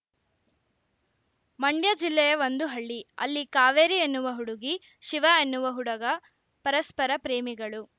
ಮಂಡ್ಯ ಜಿಲ್ಲೆಯ ಒಂದು ಹಳ್ಳಿ ಅಲ್ಲಿ ಕಾವೇರಿ ಎನ್ನುವ ಹುಡುಗಿ ಶಿವ ಎನ್ನುವ ಹುಡುಗ ಪರಸ್ಪರ ಪ್ರೇಮಿಗಳು